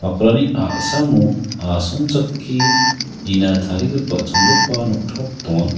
bakrani a·samo asongchake nina tarigipa chongipa noktop donga.